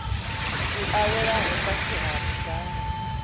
a welaho fhasi ha ndango